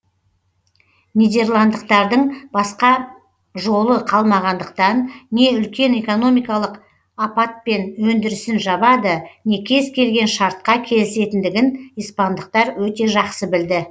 нидерландықтардың басқа жолы қалмағандықтан не үлкен экономикалық аппатпен өндірісін жабады не кез келген шартқа келісетіндігін испандықтар өте жақсы білді